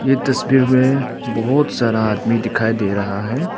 ई तस्वीर में बहुत सारा आदमी दिखाई दे रहा है।